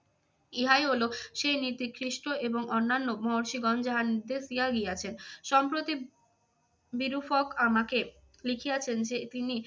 ইহাই হলো সেই নীতি খ্রিস্ট এবং অন্যান্য মহর্ষিগণ যাহা নির্দেশ দিয়া গিয়াছেন। সম্প্রতি বিরুফক আমাকে লিখিয়াছেন যে তিনি